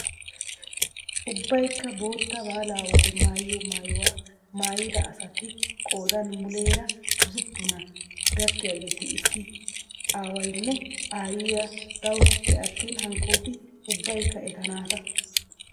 Ubbaykka bootta baalaa wode maayiyoo maayuwaamaayida asati qoodan muleera hosppunaa gakkiyaageti iss aawayinne aayiyaa dawusuppe attin hankkoti ubbayikka eta naata!